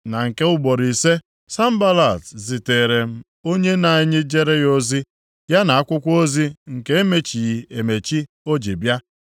Na nke ugboro ise, Sanbalat ziteere m onye na-ejere ya ozi, ya na akwụkwọ ozi nke e mechighị emechi o ji bịa.